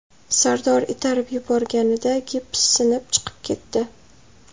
Sardor itarib yuborganida gips sinib, chiqib ketdi.